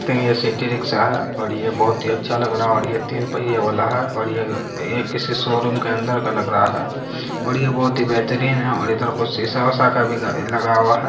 ये city rickshaw है और ये बहुत ही अच्छा लग रहा है और तीन पहिये वाला है और ये - ये किसी शोरूम के अंदर का लग रहा है और ये बहुत ही बेहतरीन है और इधर कुछ सीसा-वीसा का भी ल - लगा हुआ हैं।